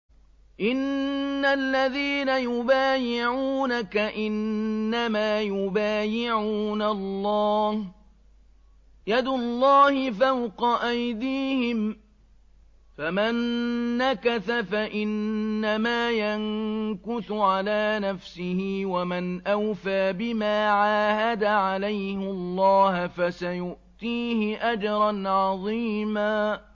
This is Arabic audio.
إِنَّ الَّذِينَ يُبَايِعُونَكَ إِنَّمَا يُبَايِعُونَ اللَّهَ يَدُ اللَّهِ فَوْقَ أَيْدِيهِمْ ۚ فَمَن نَّكَثَ فَإِنَّمَا يَنكُثُ عَلَىٰ نَفْسِهِ ۖ وَمَنْ أَوْفَىٰ بِمَا عَاهَدَ عَلَيْهُ اللَّهَ فَسَيُؤْتِيهِ أَجْرًا عَظِيمًا